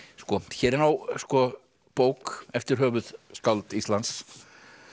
hér er bók eftir höfuðskáld Íslands